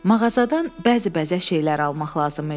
Mağazadan bəzi bəzək şeylər almaq lazım idi.